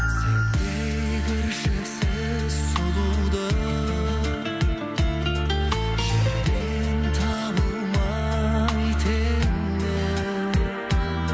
сендей кіршіксіз сұлуды жерден табылмай теңі